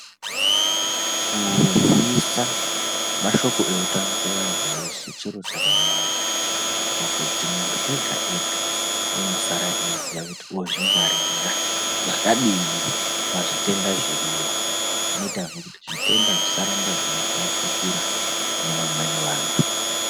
Kuzisa mashoko eutano kuvantu veshe chiro chakanaka pakuti muntu ega-ega unosara eiziya kuti ozvingwaririra zvakadini pazvitenda zviriyo. Zvinoitazve kuti zvitenda zvisaramba zveitapukira kune vamweni vantu.